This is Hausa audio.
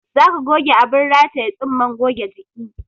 Za ka goge abin rataye tsumman goge jiki